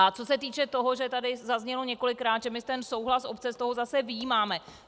A co se týče toho, že tady zaznělo několikrát, že my ten souhlas obce z toho zase vyjímáme.